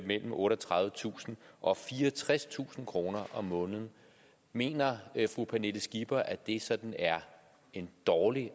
mellem otteogtredivetusind og fireogtredstusind kroner om måneden mener fru pernille skipper at det sådan er en dårlig